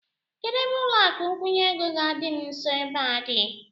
Kedụ ebe ụlọakụ nkwụnye ego ga-adị m nso ebe a dị?